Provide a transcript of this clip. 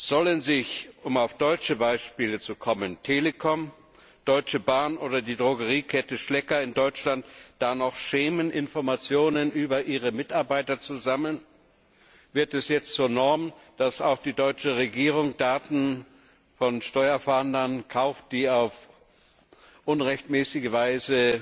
Sollen sich um auf deutsche Beispiele zu kommen die Telekom, die Deutsche Bahn oder die Drogeriekette Schlecker da noch schämen, Informationen über ihre Mitarbeiter zu sammeln? Wird es jetzt zur Norm, dass auch die deutsche Regierung Daten von Steuerfahndern kauft, die auf unrechtmäßige Weise